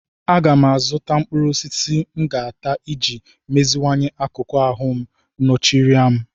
Aga m azụta mkpụrụ osisi m ga-ata iji meziwanye akụkụ ahụ ncheorịa m.